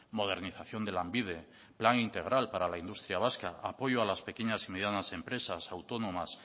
modernización de lanbide plan integral para la industria vasca apoyo a las pequeñas y medianas empresas autónomas